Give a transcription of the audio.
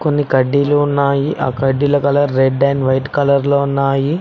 కొన్ని కడ్డీలు ఉన్నాయి ఆ కడ్డీల colour red and white colour లో ఉన్నాయి.